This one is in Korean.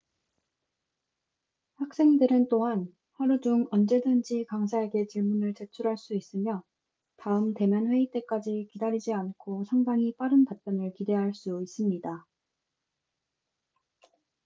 학생들은 또한 하루 중 언제든지 강사에게 질문을 제출할 수 있으며 다음 대면 회의 때까지 기다리지 않고 상당히 빠른 답변을 기대할 수 있습니다